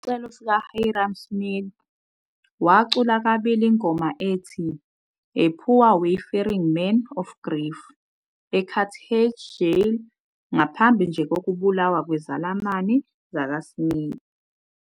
Ngokwesicelo sikaHyrum Smith, wacula kabili ingoma ethi " A Poor Wayfaring Man of Grief " eCarthage Jail ngaphambi nje kokubulawa kwezelamani zakwaSmith.